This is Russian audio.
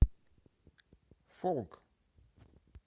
фолк